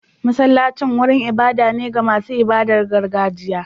Masallacin wurin ibada ne ga masu ibadar gargajiya.